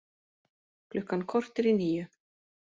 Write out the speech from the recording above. Klukkan korter í níu